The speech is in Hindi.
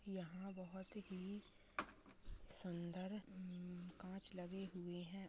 यहाँ बहोत ही सुंदर अम कांच लगे हुए है।